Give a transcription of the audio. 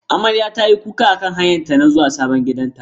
Amarya tayi kuka akan hanyarta ta zuwa sabon gidanta.